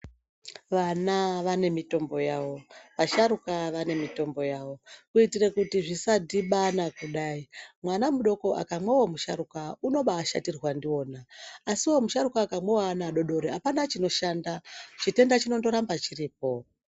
Vana vane mitombo yavo vasharuka vane mitombo yavo kuitire kuti zvisa dhibana kudai mwana mudoko akamwawo we musharuka unobai shatirwa ndiwona asiwo musharuka akamwawo we ana adodori apana chino shanda chitenda chinondo ramba chiripo.